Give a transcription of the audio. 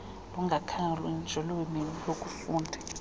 lungakhethwa njengolwimi lokufunda